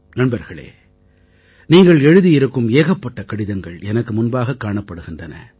நண்பர்களே நீங்கள் எழுதியிருக்கும் ஏகப்பட்ட கடிதங்கள் எனக்கு முன்பாகக் காணப்படுகிறன